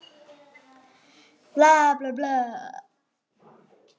Og á hann.